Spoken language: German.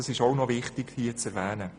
Das ist auch noch wichtig zu erwähnen.